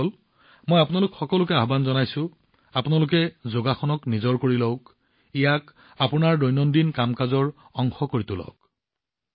বন্ধুসকল আপোনালোক সকলোকে আহ্বান জনাইছো যে যোগাসন জীৱনত গ্ৰহণ কৰক ইয়াক আপোনাৰ দৈনন্দিন জীৱনৰ অংশ হিচাপে গঢ়ি তোলক